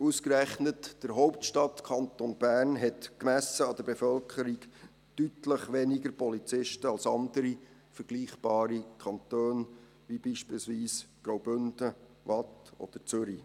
Ausgerechnet der Hauptstadtkanton Bern hat, gemessen an der Bevölkerung, deutlich weniger Polizisten als andere, vergleichbare Kantone, wie beispielsweise Graubünden, Waadt oder Zürich.